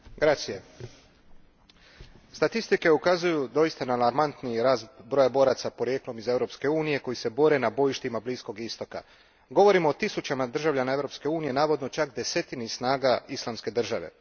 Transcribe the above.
Gospodine predsjedniče, statistike ukazuju doista na alarmantni rast broja boraca porijeklom iz Europske unije koji se bore na bojištima Bliskog istoka. Govorimo o tisućama državljana Europske unije, navodno čak desetini snaga Islamske države.